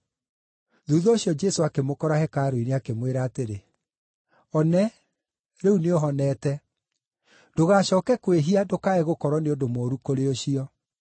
Thuutha ũcio Jesũ akĩmũkora hekarũ-inĩ, akĩmwĩra atĩrĩ, “One, rĩu nĩũhonete. Ndũgacooke kwĩhia ndũkae gũkorwo nĩ ũndũ mũũru kũrĩ ũcio.”